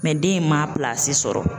den in man a pilasi sɔrɔ.